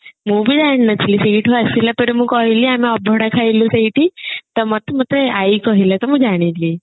ମୁଁ ବି ଜାଣି ନଥିଲି ସେଇଠୁ ଆସିଲା ପରେ ମୁଁ କହିଲି ଆମେ ଅଭଡା ଖାଇଲୁ ସେଇଠି ତ ମତେ ମତେ ଆଇ କହିଲା ତ ମୁଁ ଜାଣିଲି